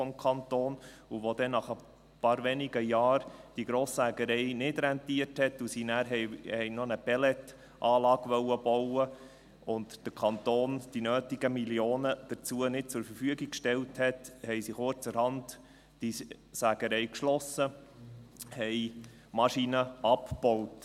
Als die Grosssägerei nach einigen wenigen Jahren nicht rentiert hat, sie dann noch eine Pelletanlage bauen wollten und der Kanton die dazu nötigen Millionen nicht zur Verfügung gestellt hat, haben sie die Sägerei kurzerhand geschlossen und die Maschinen abgebaut.